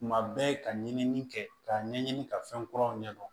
Tuma bɛɛ ka ɲinini kɛ k'a ɲɛɲini ka fɛn kuraw ɲɛdɔn